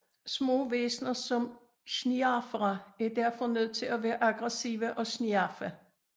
Små væsener som schniarfere er derfor nødt til at være aggressive og schniarfe alt og alle